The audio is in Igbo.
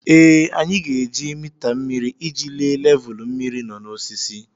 Ee, anyị ga-eji mita mmiri iji lee levulu mmiri nọ n'osisi.